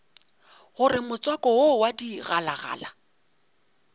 gore motswako wo wa digalagala